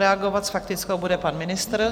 Reagovat s faktickou bude pan ministr.